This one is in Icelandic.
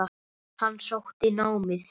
Hann sótti námið.